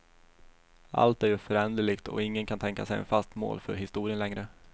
Allt är ju föränderligt och ingen kan tänka sig ett fast mål för historien längre.